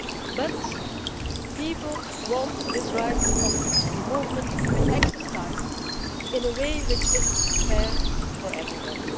But people want this right of free movement to be exercised in a way which is fair for everybody.